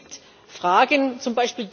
Es gibt Fragen, z.